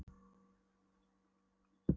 Og í öðru blaði segir: Fólk þyrpist á sýninguna.